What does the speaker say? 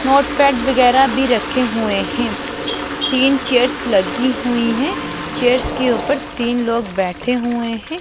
Notepad वगैरा भी रखे हुए हैं तीन चेयर्स लगी हुई हैं चेयर्स के ऊपर तीन लोग बैठे हुए हैं।